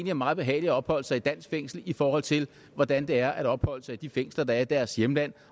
er meget behageligt at opholde sig i et dansk fængsel i forhold til hvordan det er at opholde sig i de fængsler der er i deres hjemlande